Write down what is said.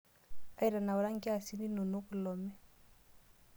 Aitanaura nkiasin inonok kilome.